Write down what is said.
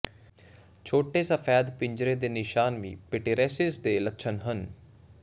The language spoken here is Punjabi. ਛੋਟੇ ਸਫੈਦ ਪਿੰਜਰੇ ਦੇ ਨਿਸ਼ਾਨ ਵੀ ਪੀਟੀਰੀਏਸਿਸ ਦੇ ਲੱਛਣ ਹਨ